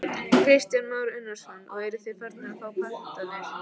Kristján Már Unnarsson: Og eruð þið farnir að fá pantanir?